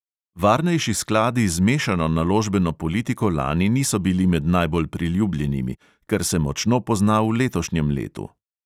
Varnejši skladi z mešano naložbeno politiko lani niso bili med najbolj priljubljenimi, kar se močno pozna v letošnjem letu.